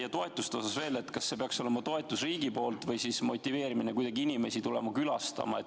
Ja toetuse kohta veel: kas see peaks olema riigipoolne toetus või kuidagi inimeste motiveerimine, et nad tuleksid külastama?